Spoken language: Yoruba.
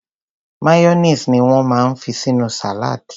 Mayonnaise ni won máa ń fi sínú salad.